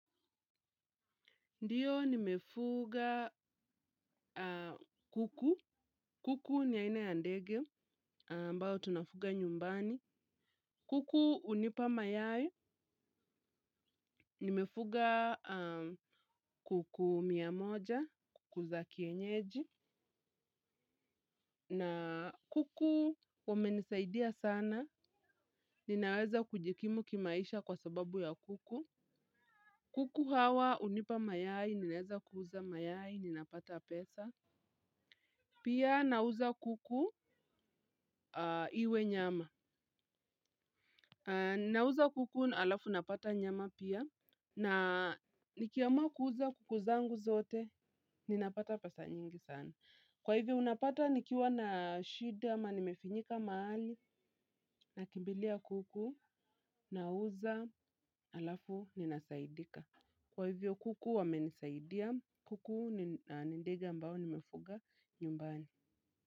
Ndiyo nimefuga kuku. Kuku ni aina ya ndege. Ambao tunafuga nyumbani. Kuku hunipa mayai. Nimefuga kuku mia moja. Kuku za kienyeji. Na kuku wamenisaidia sana. Ninaweza kujikimu kimaisha kwa sababu ya kuku. Kuku hawa unipa mayaye. Ninaweza kuuza mayai. Ninapata pesa. Pia nauza kuku iwe nyama. Nauza kuku alafu napata nyama pia. Na nikiamua kuuza kuku zangu zote ninapata pesa nyingi sana. Kwa hivyo unapata nikiwa na shida ama nimefinyika mahali. Nakimbilia kuku. Nauza alafu ninasaidika. Kwa hivyo kuku wamenisaidia. Kuku ni ndege ambao nimefuga nyumbani.